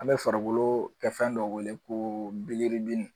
An bɛ farikolo kɛ fɛn dɔ wele ko